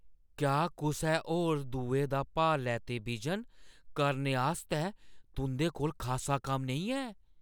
क्या कुसै होर दुए दा भार लैते बिजन करने आस्तै तुंʼदे कोल खासा कम्म नेईं है?